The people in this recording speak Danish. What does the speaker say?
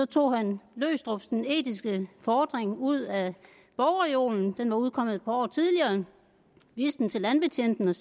tog han løgstrups den etiske fordring ud af bogreolen den var udkommet et par år tidligere viste den til landbetjenten og